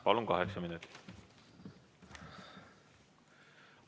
Palun, kaheksa minutit!